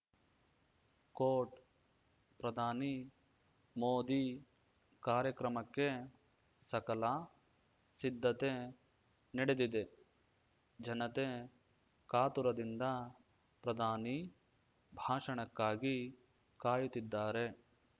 coat ಪ್ರಧಾನಿ ಮೋದಿ ಕಾರ್ಯಕ್ರಮಕ್ಕೆ ಸಕಲ ಸಿದ್ಧತೆ ನಡೆದಿದೆ ಜನತೆ ಕಾತುರದಿಂದ ಪ್ರಧಾನಿ ಭಾಷಣಕ್ಕಾಗಿ ಕಾಯುತ್ತಿದ್ದಾರೆ